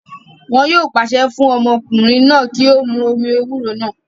Wọn yóò pàṣẹ fún ọmọkùnrin náà kí ó mu omi ewúro náà